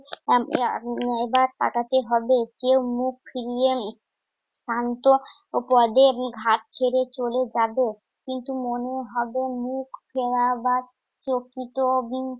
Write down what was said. এবার তাকাতে হবে। সে মুখ ফিরিয়ে উম শান্ত পদে উম ঘাট ছেড়ে চলে যাবে। কিন্তু মনে হবে মুখ ফেরাবার প্রকৃত